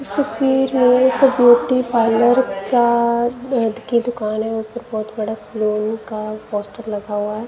इस तस्वीर में एक ब्यूटी पार्लर का अ ध की दुकान है ऊपर बहोत बड़ा सैलून का पोस्टर लगा हुआ है।